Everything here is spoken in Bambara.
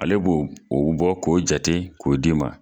Ale b'o o bɔ k'o jate ko di ma.